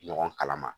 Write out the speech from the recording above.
Ɲɔgɔn kala ma